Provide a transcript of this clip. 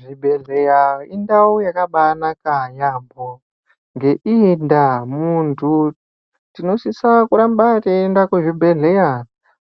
Zvibhedhleya indau yakabanaka yambo, ngeyiyi ndaa muntu tinosisa kuramba teyienda kuzvibhedhleya